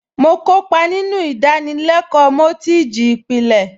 Mo kópa nínú ìdánilẹ́kọ̀ọ́ mọ́tíìjì ìpìlẹ̀